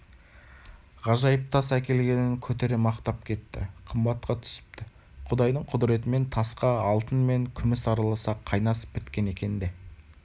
ғажайып тас әкелгенін көтере мақтап кетті қымбатқа түсіпті құдайдың құдіретімен тасқа алтын мен күміс араласа қайнасып біткен екен де